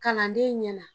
Kalanden ɲɛna